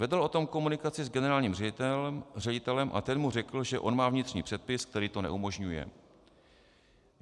Vedl o tom komunikaci s generálním ředitelem a ten mu řekl, že on má vnitřní předpis, který to neumožňuje.